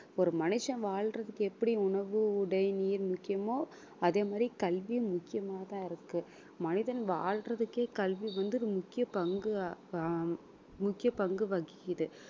ஒரு மனுஷன் வாழ்றதுக்கு எப்படி உணவு உடை நீர் முக்கியமோ அதே மாதிரி கல்வி முக்கியமாதான் இருக்கு மனிதன் வாழ்றதுக்கே கல்வி வந்து முக்கிய பங்கு ஆஹ் முக்கிய பங்கு வகிக்குது